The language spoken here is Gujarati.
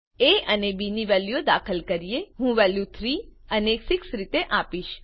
એ અને બી ની વેલ્યુ દાખલ કરો હું વેલ્યુ 3 અને 6 રીતે આપીશ